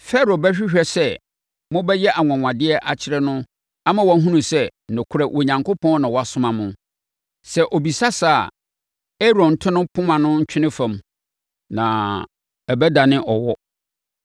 “Farao bɛhwehwɛ sɛ mobɛyɛ anwanwadeɛ akyerɛ no ama wahunu sɛ, nokorɛ, Onyankopɔn na wasoma mo. Sɛ ɔbisa saa a, Aaron nto ne poma no ntwene fam na ɛbɛdane ɔwɔ.”